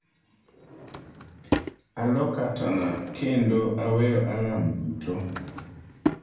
"""Alo katana kendo aweyo alarm duto."""